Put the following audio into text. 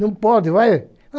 Não pode, vai!